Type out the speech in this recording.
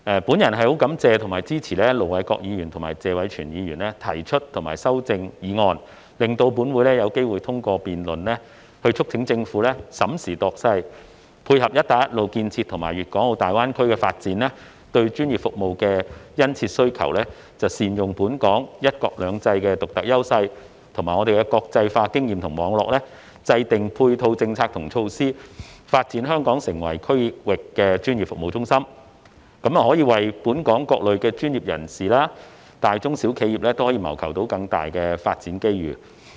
本人感謝及支持盧偉國議員及謝偉銓議員提出議案及修正案，讓本會有機會通過辯論，促請政府審時度勢，配合"一帶一路"建設和粵港澳大灣區發展對專業服務的殷切需求，善用本港"一國兩制"的獨特優勢，以及國際化經驗及網絡，制訂配套政策及措施，發展香港成為區域專業服務中心，為本港各類專業人士和大、中、小型企業謀求更多發展機遇。